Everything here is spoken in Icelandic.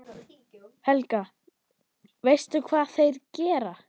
Helga: Veistu hvað þeir gera?